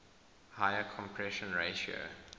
higher compression ratio